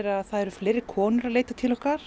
að það eru fleiri konur að leita til okkar